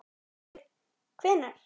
Haukur: Hvenær?